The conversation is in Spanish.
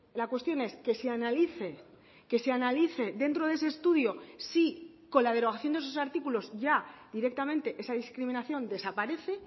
la cuestión es que se analice que se analice dentro de ese estudio si con la derogación de esos artículos ya directamente esa discriminación desaparece